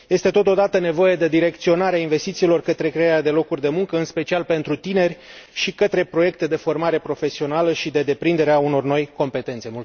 Este totodată nevoie de direcționarea investițiilor către crearea de locuri de muncă, în special pentru tineri, și către proiecte de formare profesională și de deprindere a unor noi competențe.